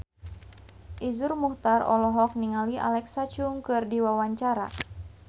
Iszur Muchtar olohok ningali Alexa Chung keur diwawancara